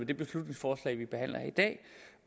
det beslutningsforslag vi behandler i dag